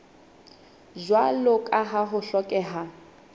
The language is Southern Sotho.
jwalo ka ha ho hlokeha